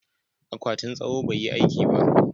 akwatin tsawo bai yi aiki ba